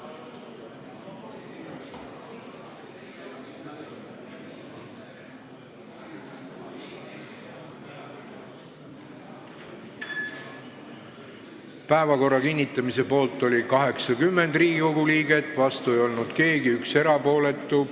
Hääletustulemused Päevakorra kinnitamise poolt oli 80 Riigikogu liiget, vastu ei olnud keegi, 1 jäi erapooletuks.